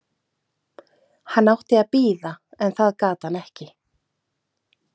Hann átti að bíða en það gat hann ekki.